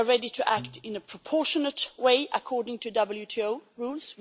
We are ready to act in a proportionate way according to WTO rules.